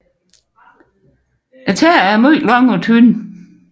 Tæerne er meget lange og tynde